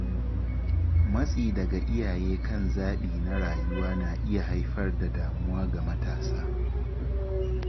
Matsi daga iyaye kan zabi na rayuwa na iya haifar da damuwa ga matasa.